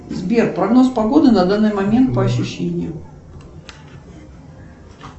сбер прогноз погоды на данный момент по ощущениям